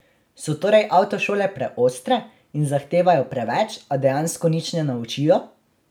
So torej avtošole preostre in zahtevajo preveč, a dejansko nič ne naučijo?